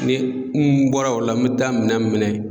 Ni n bɔra o la n mi taa minɛn minɛ